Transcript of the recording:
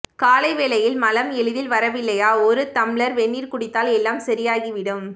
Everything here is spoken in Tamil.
காலை வேளையில் மலம் எளிதில் வரவில்லையா ஒரு தம்ளர் வெந்நீர் குடித்தால் எல்லாம் சரியாகிவிடும்